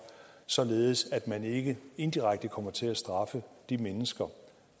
således at man ikke indirekte kommer til at straffe de mennesker